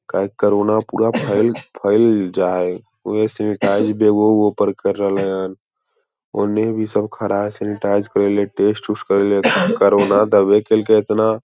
काहे कोरोना पूरा फ़ैल फैल जा है उहे सैनिटाइज़ बैगवा उगवा पर कर रहले है ओने भी सब खरा सैनिटाइज़ करैले टेस्ट उस्ट करैले कोरोना दवे करैल के इतना ।